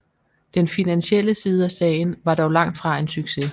Den finansielle side af sagen var dog langt fra en succes